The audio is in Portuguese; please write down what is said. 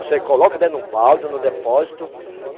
Você coloca dentro de um balde no depósito.